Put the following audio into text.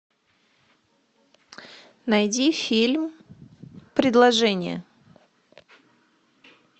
найди фильм предложение